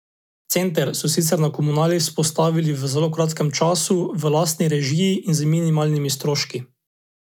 Center so sicer na komunali vzpostavili v zelo kratkem času, v lastni režiji in z minimalnimi stroški.